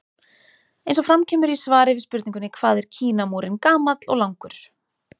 Eins og fram kemur í svari við spurningunni Hvað er Kínamúrinn gamall og langur?